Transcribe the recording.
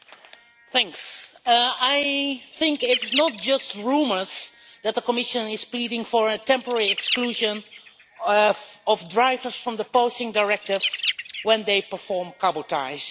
Mr President, I think it is not just rumours that the Commission is pleading for a temporary exclusion for drivers from the Posting Directive when they perform cabotage.